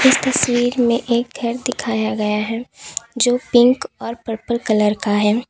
इस तस्वीर में एक घर दिखाया गया है जो पिंक और पर्पल कलर का है।